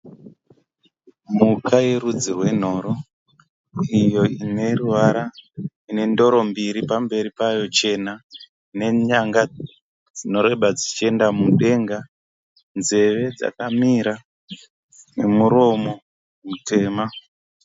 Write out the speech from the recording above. Mhuka yerudzi rwenhoro iyo ine ruvara ine ndoro mbiri pamberi payo chena nenyanga dzinoreba dzichienda mudenga. Nzeve dzakamira nemuromo mutema.